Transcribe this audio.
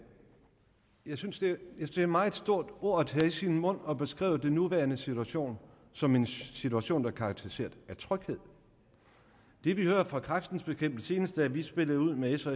jeg synes det er et meget stort ord at tage i sin mund at beskrive den nuværende situation som en situation der er karakteriseret af tryghed det vi hører fra kræftens bekæmpelse senest da vi spillede ud med s og